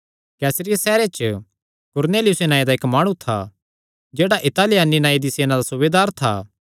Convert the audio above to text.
कैसरिया सैहरे च कुरनेलियुस नांऐ दा इक्क माणु था जेह्ड़ा इतालियानी नांऐ दी सेना दा सूबेदार था